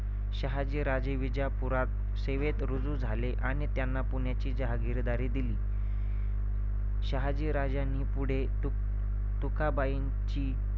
शहाजी राजे विजापूरात सेवेत रुजू झाले आणि त्यांना पुण्याची जहागिरी दिली. शहाजी राजांनी पुढे तू~ तुकबाईंची